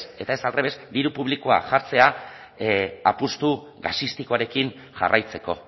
eta ez aldrebes diru publikoa jartzea apustu gasistikoarekin jarraitzeko